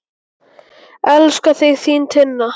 Elska þig, þín Tinna.